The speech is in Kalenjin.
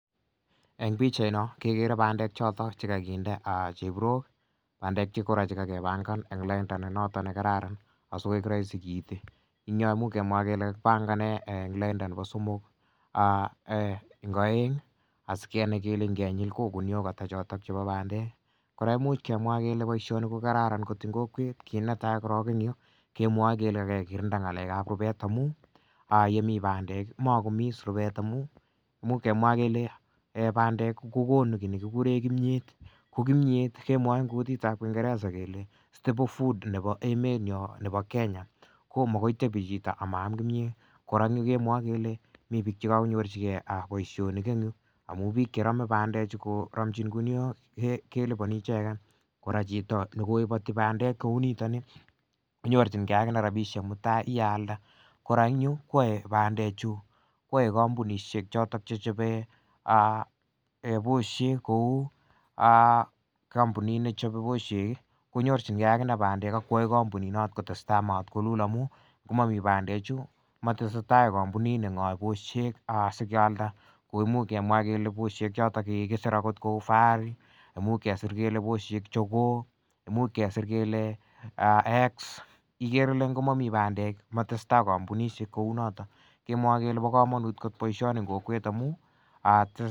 Eng' pikchaino kekere bandek choto chekakinde chepirok bandek kora chekakepangan eng' lainda ne noto ne kararan asikowek rahisi kiiti ing' yo muuch kemwa kele kakipangane eng' lainda nebo somok eng' oeng' asikenai kele ngenyil ko guniok ata chotok chebo bandek kora ko imuuch kemwa kele boishoni ko kararan kot ing' kokwet kiit netai korok eng' yu kemwoe kele kekirinda ng'alekab rubet amu yemi bandek komakomi is rubet amu muuch kemwa kele bandek kokonu kii nekikure kimyet ko kimyet kemwoe eng' kutitab kingeresa kele stable food nebo emenyo nebo kenya komokoi tebi chito amaam kimiyet kora eng' yu kemwoe kele mi biik chekakonyorchigei boishonik eng' yu amu biik cheromei bandechu koromchin guniok kelipani icheget kora chito nekoiboti bandek kou nitoni konyorchingei akine rabishek mutai yealda kora eng' yu kowoe bandechu kwoei kampunishek choto chechobe boshek kou kampunit nechobei boshek konyorchingei akine bandek akoyoei kampunit noto kotestai matkolul amu komami bandechu komatesei tai kampunini ng'oei boshek sikealda ko imuuch kemwa kele boshek chotok chekikiser akot kou fahari imuuch kesir kele boshek jogoo imuuch kesir kele exe ikere ile ngomomi bandek komatsei tai kampunishek kou noto kemwoe kele bo komonut kot boishoni eng' kokwet